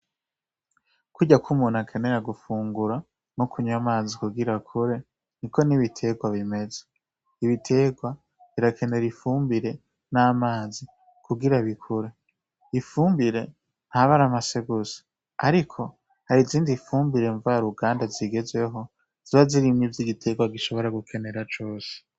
Kurya kw'umuntu akenera gufungura no kunywa amazi kugira akure ni ko n'ibiterwa bimeze. Ibiterwa birakenera ifumbire n'amazi kugira bikure. ifumbire nta bari amase gusa, ariko hari izindi fumbire mva ruganda zigezweho ziba zirimwo ivyo igitekwa gishobora gukenera cose.